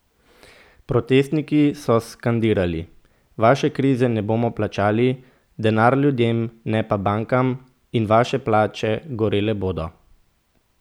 Protestniki so skandirali: "Vaše krize ne bomo plačali", "Denar ljudem, ne pa bankam" in "Vaše palače gorele bodo".